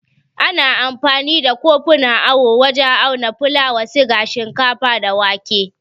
Ana amfani da kofunan awo wajen auna fulawa, siga, shinkafa, da wake.